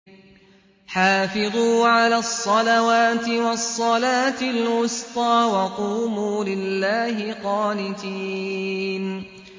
حَافِظُوا عَلَى الصَّلَوَاتِ وَالصَّلَاةِ الْوُسْطَىٰ وَقُومُوا لِلَّهِ قَانِتِينَ